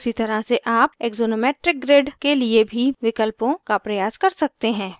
उसी तरह से आप axonometric grid के लिए भी विकल्पों का प्रयास कर सकते हैं